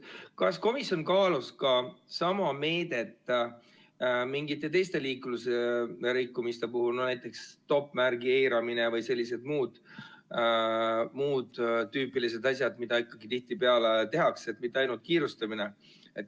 Kas komisjon kaalus sama meedet ka mingite teiste liiklusrikkumiste puhul, näiteks stoppmärgi eiramine või muud sellised tüüpilised asjad, mida tihtipeale tehakse, mitte ainult kiirustamise puhul?